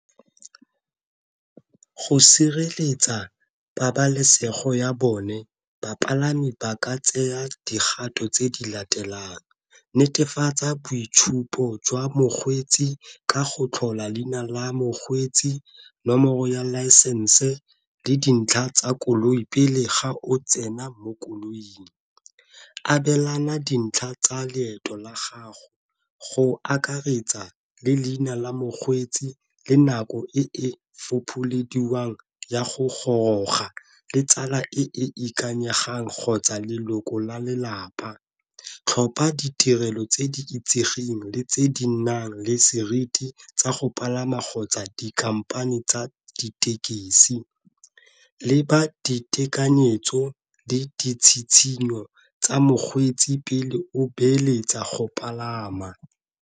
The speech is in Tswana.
Go sireletsa pabalesego ya bone bapalami ba ka tseya digato tse di latelang netefatsa boitshupo jwa mokgweetsi ka go tlhola leina la mokgweetsi, nomoro ya laesense le dintlha tsa koloi pele ga o tsena mo koloing, abelana dintlha tsa leeto la gago go akaretsa le leina la mokgweetsi le nako e e fopholediwang ya go goroga le tsala e e ikanyegang kgotsa leloko la lelapa. Tlhopha ditirelo tse di itsegeng le tse di nang le seriti tsa go palama kgotsa dikhamphane tsa ditekesi, leba ditekanyetso le ditshitshinyo tsa mokgweetsi pele o beeletsa go palama.